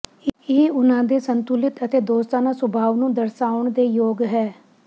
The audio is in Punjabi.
ਇਹ ਉਨ੍ਹਾਂ ਦੇ ਸੰਤੁਲਿਤ ਅਤੇ ਦੋਸਤਾਨਾ ਸੁਭਾਅ ਨੂੰ ਦਰਸਾਉਣ ਦੇ ਯੋਗ ਹੈ